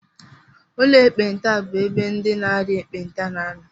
Ụlọ ekpenta bụ ebe ndị na-arịa ekpenta na-anọ